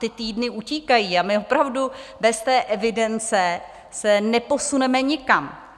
Ty týdny utíkají a my opravdu bez té evidence se neposuneme nikam.